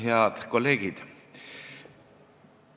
Head kolleegid!